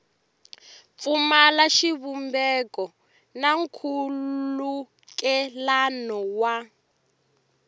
pfumala xivumbeko na nkhulukelano wa